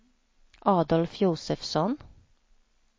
Adolf Josefsson